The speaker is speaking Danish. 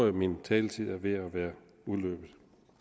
at min taletid er ved at være udløbet